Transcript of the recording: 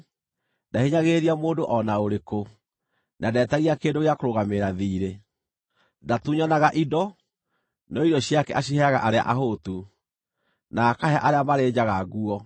Ndahinyagĩrĩria mũndũ o na ũrĩkũ, na ndeetagia kĩndũ gĩa kũrũgamĩrĩra thiirĩ. Ndatunyanaga indo, no irio ciake aciheaga arĩa ahũtu, na akahe arĩa marĩ njaga nguo.